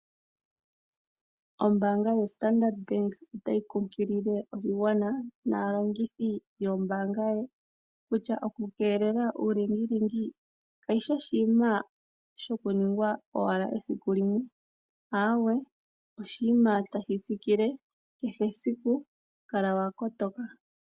Ombaanga yoStandard Bank otayi kunkilile oshigwana naalongithi yombaanga yawo kutya, oku keelela uulingilingi kayi shi oshinima shoku nings esiku limwe , ahawe oshinima tashi tsikile kehe esiku , onkene kala wa kotoka.